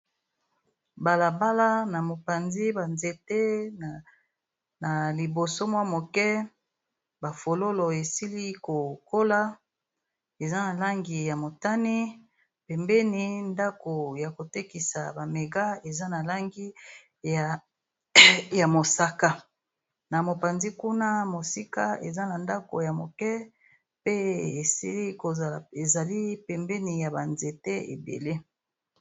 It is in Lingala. balabala na mopanzi banzete na liboso mwa moke ba fololo esili kokola eza na langi ya motani pembeni ndako ya kotekisa bamega eza na langi ya mosaka na mopanzi kuna mosika eza na ndako ya moke pe esili kozala ezali pembeni ya banzete ebele